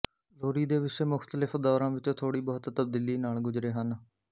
ਲੋਰੀ ਦੇ ਵਿਸ਼ੇ ਮੁਖਤਲਿਫ਼ ਦੌਰਾਂ ਵਿੱਚ ਥੋੜ੍ਹੀ ਬਹੁਤ ਤਬਦੀਲੀ ਨਾਲ ਗੁਜਰੇ ਹਨ